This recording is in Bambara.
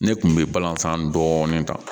Ne kun bɛ balanzan dɔɔnin ta